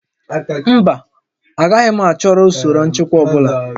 Mba, agaghị m ahọrọ usoro nchịkwa ọ bụla